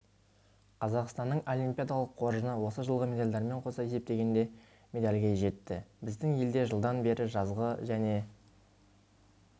қазақстанның олимпиадалық қоржыны осы жылғы медальдармен қоса есептегенде медальге жетті біздің елде жылдан бері жазғы және